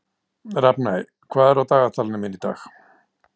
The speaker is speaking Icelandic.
Rafney, hvað er á dagatalinu mínu í dag?